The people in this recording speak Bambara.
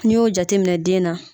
N'i y'o jateminɛ den na.